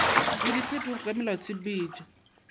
le diphetogo ka go melaotshepetšo